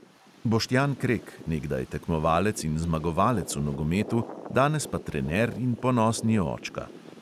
Boštjan krek, nekdaj tekmovalec in zmagovalec v nogometu, danes pa trener in ponosni očka.